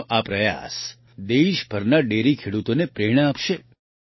તેમનો આ પ્રયાસ દેશભરના ડેરી ખેડૂતોને પ્રેરણા આપશે